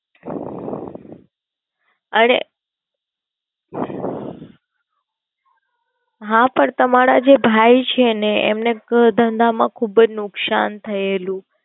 અરે હા પણ તમારા જે ભાઈ છે એમને ધંધા માં ખુબજ નુકસાન થયેલું.